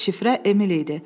Şifrə Emil idi.